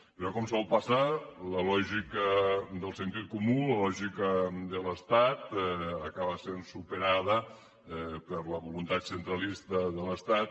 però com sol passar la lògica del sentit comú la lògica de l’estat acaba sent superada per la voluntat centralista de l’estat